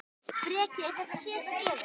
Breki: Er þetta síðasta gjöfin?